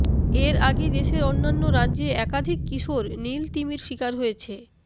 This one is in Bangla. এর আগে দেশের অন্যান্য রাজ্যে একাধিক কিশোর নীল তিমির শিকার হয়েছে